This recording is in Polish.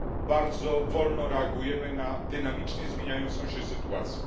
Bardzo wolno reagujemy na dynamicznie zmieniającą się sytuację.